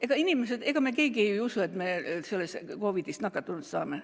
Ega inimesed üldse ja ega me keegi ju ei usu, et me COVID‑ist nakatunud saame.